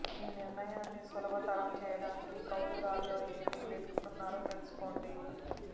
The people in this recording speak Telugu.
ఈ నిర్ణయాన్ని సులభతరం చేయడానికి కౌలుదారులో ఏమి వెతుకుతున్నారో తెలుసుకోండి